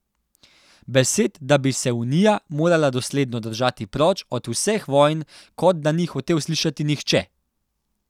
Besed, da bi se Unija morala dosledno držati proč od vseh vojn, kot da ni hotel slišati nihče.